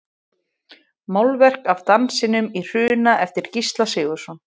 Málverk af Dansinum í Hruna eftir Gísla Sigurðsson.